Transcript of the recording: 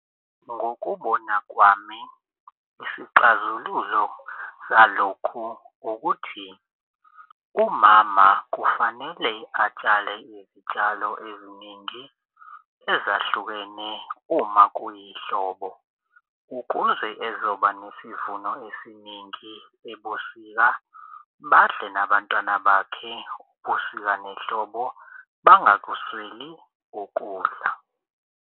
Ngokubona kwami isixazululo zalokhu ukuthi umama kufanele atshale izitshalo eziningi ezahlukene uma kuyihlobo, ukuze ezoba nesivuno esiningi ebusika badle nabantwana bakhe ubusika nehlobo bangakusweli ukudla.